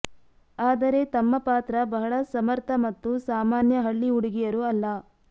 ಆದರೆ ತಮ್ಮ ಪಾತ್ರ ಬಹಳ ಸಮರ್ಥ ಮತ್ತು ಸಾಮಾನ್ಯ ಹಳ್ಳಿ ಹುಡುಗಿಯರು ಅಲ್ಲ